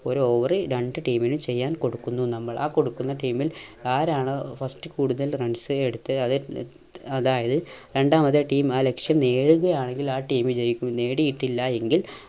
ഒരു over ൽ രണ്ട് team നു ചെയ്യാൻ കൊടുക്കുന്നു നമ്മൾ. ആ കൊടുക്കുന്ന team ൽ ആരാണോ first കൂടുതൽ runs എ എടുത്ത് അതെ ഏർ അതായത് രണ്ടാമത്തെ team ആ ലക്ഷ്യം നേടുകയാണെങ്കിൽ ആ team ജയിക്കും നേടിയിട്ടില്ല എങ്കിൽ